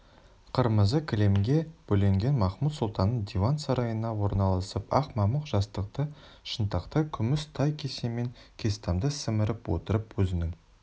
қырмызы кілемге бөленген махмуд-сұлтанның диван сарайына орналасып ақ мамық жастықты шынтақтай күміс тай кесемен кестамды сіміріп отырып өзінің